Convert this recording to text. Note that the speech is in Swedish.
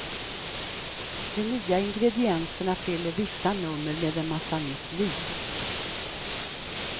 De nya ingredienserna fyller vissa nummer med en massa nytt liv.